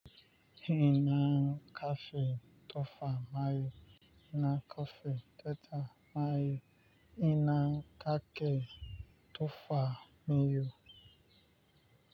Ina kafin tofa mayu, ina kafin tata mayu, ina kake tofa mayu.